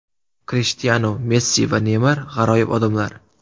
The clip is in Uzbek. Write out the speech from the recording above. Krishtianu, Messi va Neymar g‘aroyib odamlar.